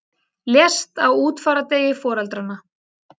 Lést á útfarardegi foreldranna